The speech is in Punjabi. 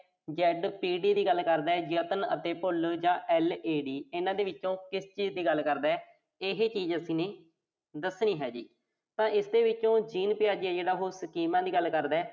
ZPD ਦੀ ਗੱਲ ਕਰਦੈ। ਯਤਨ ਅਤੇ ਭੁੱਲ LAD, ਇਨ੍ਹਾਂ ਦੇ ਵਿੱਚੋਂ ਕਿਸ ਚੀਜ਼ ਦੀ ਗੱਲ ਕਰਦੈ? ਇਹ ਚੀਜ਼ ਅਸੀਂ ਦੱਸਣੀ ਹੈ ਜੀ।